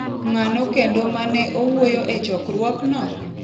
Ng’ano kendo ma ne owuoyo e chokruokno?